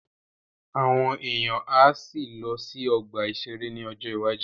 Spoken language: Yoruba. Àwọn èèyàn á sì lọ sí ọgbà-ìṣeré ní ọjọ́ iwájú